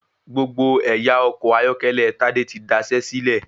Gbogbo ẹ̀yà ọkọ̀ ayọ́kẹ́lẹ́ Tádé tí daṣé sílẹ̀.